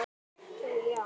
Það þurfti tvo til.